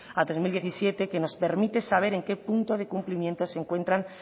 a que nos permite saber en qué punto de cumplimiento se encuentran